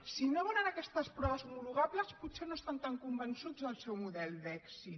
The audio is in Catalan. si no volen aquestes proves homologables potser no estan tan convençuts del seu model d’èxit